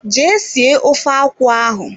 Jee sie ofe akwụ ahụ.